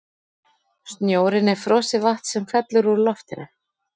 snjórinn er frosið vatn sem fellur úr loftinu